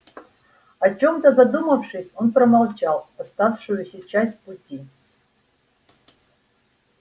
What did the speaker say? о чем-то задумавшись он промолчал оставшуюся часть пути